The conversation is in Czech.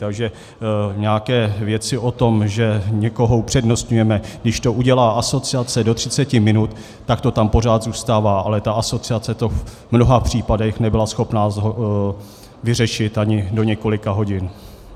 Takže nějaké věci o tom, že někoho upřednostňujeme, když to udělá asociace do 30 minut, tak to tam pořád zůstává, ale ta asociace to v mnoha případech nebyla schopna vyřešit ani do několika hodin.